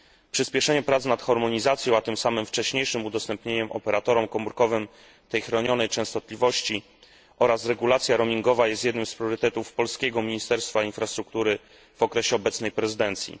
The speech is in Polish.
Przyspieszenie prac nad harmonizacją, a tym samym wcześniejszym udostępnieniem operatorom komórkowym tej chronionej częstotliwości, oraz regulacja roamingowa jest jednym z priorytetów polskiego Ministerstwa Infrastruktury w okresie obecnej prezydencji.